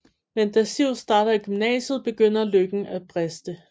Men da Siv starter i gymnasiet begynder lykken at briste